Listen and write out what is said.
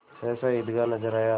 सहसा ईदगाह नजर आया